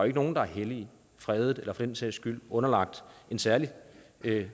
ikke nogen der er hellige fredede eller for den sags skyld underlagt en særlig